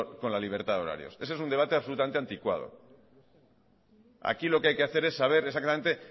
con la libertad de horarios ese es un debate absolutamente anticuado aquí lo que hay que hacer es saber exactamente